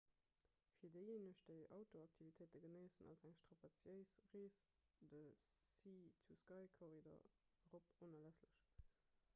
fir déijéineg déi outdooraktivitéite genéissen ass eng strapaziéis rees de sea-to-sky-korridor erop onerlässlech